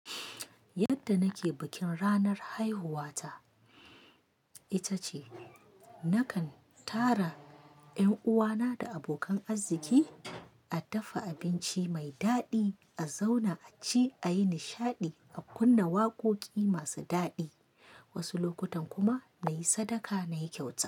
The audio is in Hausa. Yadda nake bikin ranar haihuwa ta, ita ce nakan tara ƴan uwana da abokan arzzki a dafa abinci mai daɗi, a zauna a ci, a yi nishaɗi, a kunna waƙoƙi masu daɗi, wasu lokutan kuma na yi sadaka na yi kyauta.